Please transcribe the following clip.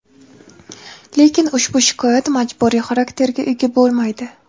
lekin ushbu shikoyat majburiy xarakterga ega bo‘lmaydi.